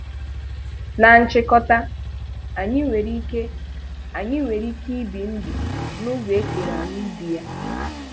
Na nchịkọta, anyị nwere ike anyị nwere ike ibi ndụ n'ụzọ e kere anyị ibi ya.